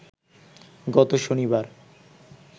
গত শনিবার